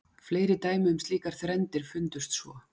Fleiri dæmi um slíkar þrenndir fundust svo.